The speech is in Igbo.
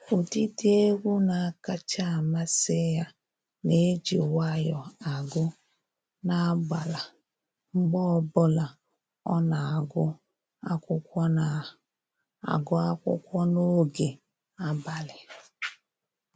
Ụdịdị egwu na-akacha amasị ya na-eji nwayọọ agụ n'agbala mgbe ọbụla ọ na-agụ akwụkwọ na-agụ akwụkwọ n'oge abalị